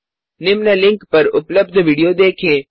निम्न लिंक पर उपलब्ध वीडियो देखें